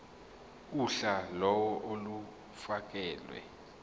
uhla lawo olufakelwe